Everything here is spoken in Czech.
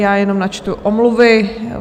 Já jenom načtu omluvy.